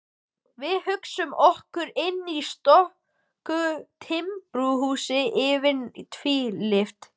Við hugsuðum okkur inn í stöku timburhús, yfirleitt tvílyft.